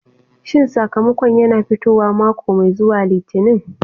Shin sakamakon yana fitowa mako mai zuwa Litinin?